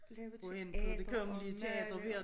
Lave teater og male